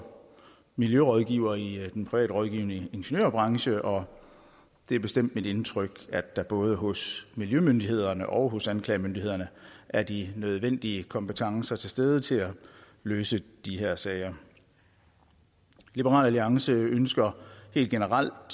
miljørådgiver i den privat rådgivende ingeniørbranche og det er bestemt mit indtryk at der både hos miljømyndighederne og også anklagemyndighederne er de nødvendige kompetencer til stede til at løfte de her sager liberal alliance ønsker helt generelt